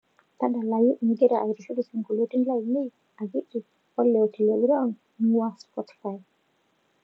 tadalayu ingira aitushul isinkolioni lainei akiti oo le otile brown eing'ua spotify